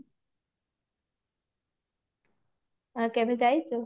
ଆଉ କେବେ ଯାଇଛୁ